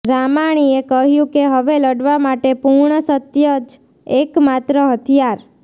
રામાણીએ કહ્યું કે હવે લડવા માટે પૂર્ણ સત્ય જ એકમાત્ર હથિયાર